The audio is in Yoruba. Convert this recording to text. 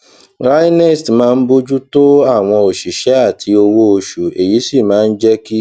raenest máa ń bójú tó àwọn òṣìṣé àti owó oṣù èyí sì máa ń jé kí